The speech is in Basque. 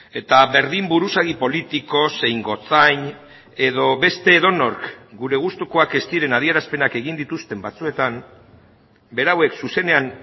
eta berdin buruzagi politiko zein gotzain edo beste edonork gure gustukoak ez diren adierazpenak egin dituzten batzuetan berauek zuzenean